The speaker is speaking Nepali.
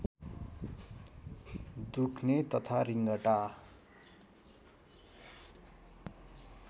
दुख्ने तथा रिँगटा